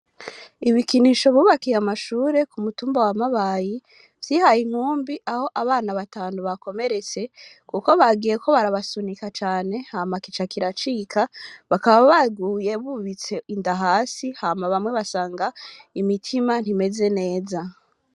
Ibikinisho, bubakiye amashure, ku mutumba wa Mabayi, vyihaye inkumbi, aho, abana batanu bakomeretse; kuko bagiyeko barabasunika cane, hama kica, kiracika, bakaba baguye, bubitse inda hasi, hama bamwe basanga, imitima ntimeze neza.